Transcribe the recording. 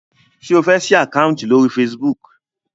ṣe o fè sí Àkáùntì lórí Facebook?